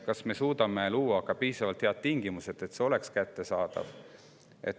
Kas me suudame luua piisavalt head tingimused selleks, et see oleks talle kättesaadav?